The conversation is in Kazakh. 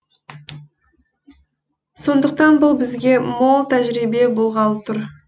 сондықтан бұл бізге мол тәжірибе болғалы тұр